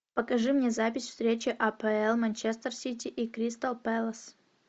покажи мне запись встречи апл манчестер сити и кристал пэлас